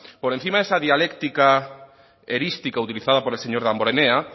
por encima de esa dialéctica erística utilizada por el señor damborenea